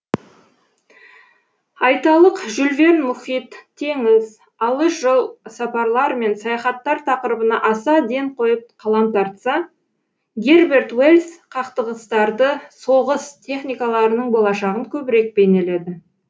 айталық жюль верн мұхит теңіз алыс жол сапарлар мен саяхаттар тақырыбына аса ден қойып қалам тартса герберт уэльс қақтығыстарды соғыс техникаларының болашағын көбірек бейнеледі